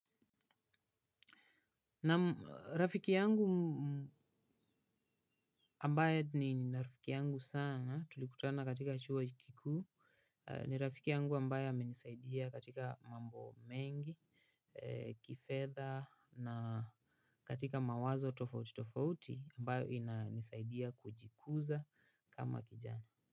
Na rafiki yangu ambaye ni rafiki yangu sana tulikutana katika chuo kikuu. Ni rafiki yangu ambaye ame nisaidia katika mambo mengi kifedha na katika mawazo tofauti tofauti ambayo inanisaidia kujikuza kama kijana.